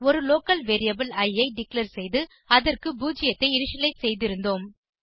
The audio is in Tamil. ஒரு லோக்கல் வேரியபிள் இ ஐ டிக்ளேர் செய்து அதற்கு 0 ஐ இனிஷியலைஸ் செய்திருந்தோம்